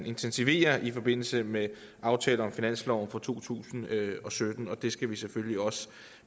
intensivere i forbindelse med aftalen om finansloven for to tusind og sytten det skal vi selvfølgelig også